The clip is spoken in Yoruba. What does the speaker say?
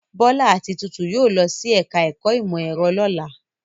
Bọ́lá àti Títù yóò lọ sí ẹ̀ka-ẹ̀kọ́ ìmọ̀-ẹ̀rọ lọ́la.